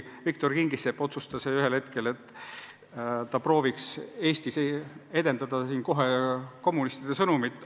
Viktor Kingissepp otsustas ühel hetkel, et ta proovib Eestis levitada kommunistide sõnumit.